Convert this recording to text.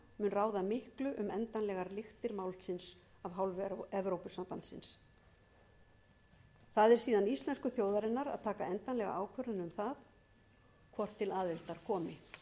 ráða miklu um endanlegar lyktir málsins af hálfu evrópusambandsins það er síðan íslensku þjóðarinnar að taka endanlega ákvörðun um það hvort til aðildar komi